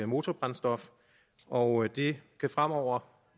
motorbrændstof og det kan fremover